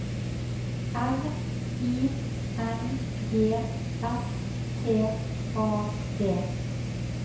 R I N G S T A D